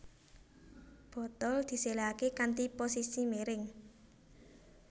Botol diséléhaké kanthi posisi miring